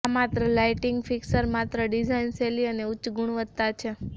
આ lighting fixture માત્ર design શૈલી અને ઉચ્ચ ગુણવત્તા છે